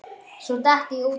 Svo datt ég út af.